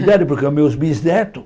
Idade, porque os meus bisnetos,